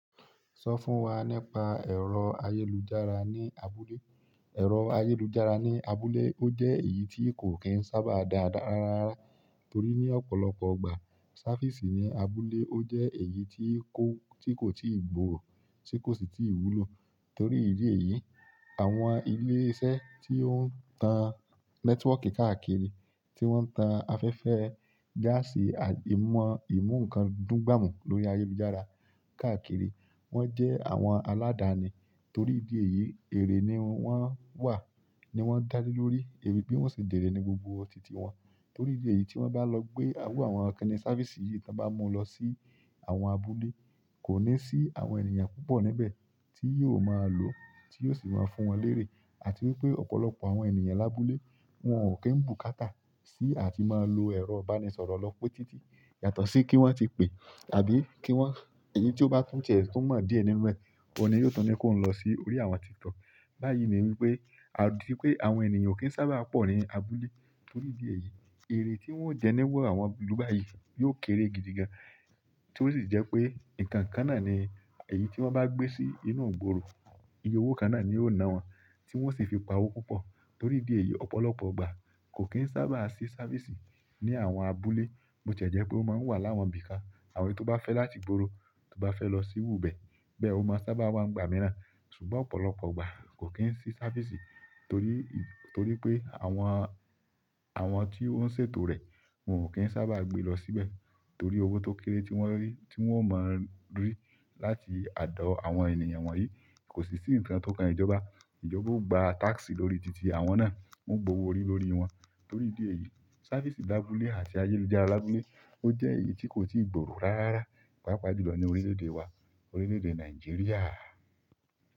Sọ fún wa nípa ẹ̀rọ ayélujára ní abúlé. Ẹ̀rọ ayélujára ní abúlé ó jẹ́ èyí tí kò kín sábà dáadáa rárá. Torí ní ọ̀pọ̀lọpọ̀ ìgbà, sáfìsì ní abúlé ó jẹ́ èyí tí kò, tí kò ti gbòòrò, tí kò sì ti wúlò. Torí ìdí èyí, àwọn ilé iṣẹ́ tí ó ń tan nẹ́tíwọ́kì káàkiri, tí wọ́n ń tan afẹ́fẹ́, gáàsì, agemo ìmú, ìmú nǹkan dún gbàmù lórí ayélujára káàkiri. Wọ́n jẹ́ àwọn aládàáni. Torí ìdí èyí, èrè ni wọ́n wà, ni wọ́n dá lé lórí, èyí bí wọ́n ṣe jèré ní gbogbo tìtì wọn. Torí ìdí èyí tí wọ́n bá lọ gbé owó àwọn ọ̀kan ní sáfìsì yìí tí wọ́n bá mú lọ sí àwọn abúlé, kò ní sí àwọn ènìyàn púpọ̀ níbẹ̀ tí yóò máa lò, tí yóò sì máa fún wọn lérè. Àti wípé ọ̀pọ̀lọpọ̀ àwọn ènìyàn lábúlé wọn ò kí ń bùkátà sí àti máa lo ẹ̀rọ ìbánisọ̀rọ̀ lọ pé títì. Yàtọ̀ sí kí wọ́n ti pè, àbí kí wọ́n, èyí tí ó bá tún jẹ̀ tó mọ̀ díẹ̀ nínú rẹ̀, òní yóò tún ní kí òun lọ sí orí àwọn TikTok. Bayi ni wípé atipe àwọn ènìyàn okin sábà po ni abúlé. Torí ìdí èyí, èrè tí wọ́n jẹni wọ̀ àwọn ìlú báyìí yóò kéré gidi gan. Tí ó sì jẹ́ pé nǹkan kan náà ni, èyí tí wọ́n bá gbé sí inú gbòòrò, iye owó kan náà ni ó ná wọn, tí wọ́n sì fi pa owó púpọ̀. Torí ìdí èyí ọ̀pọ̀lọpọ̀ ìgbà kò kín sábà ṣe sáfìsì ní àwọn abúlé. Bó ti jẹ́ pé ó máa ń wà láwọn ibi kan, àwọn tó bá fẹ́ láti gbòòrò, tó bá fẹ́ lọ sírú bẹ̀, bẹ́ẹ̀ ó máa sábà wà ní ìgbà mìíràn. Ṣùgbọ́n ọ̀pọ̀lọpọ̀ igbá kò kín sí sáfìsì torí, torí pé àwọn, àwọn tí ó ń ṣètò rẹ̀ wọn ò kí ń sábà gbé lọ síbẹ̀. Torí owó tó kéré tí wọ́n rí, tí wọ́n mọ̀ rí láti àdọ́ àwọn ènìyàn wọ̀nyí. Kò sì sí nkàn tó kan ìjobá. Ìjọba ò gba táskì lórí títì àwọn náà, wò o gbowó orí lórí wọn. Torí ìdí èyí, sáfìsì lábúlé àti ayélujára lábúlé ó jẹ́ èyí tí kò ti gbòòrò rárá. Páapá ju lọ ní orílẹ̀-èdè wa, orílẹ̀-èdè Nàìjíríà.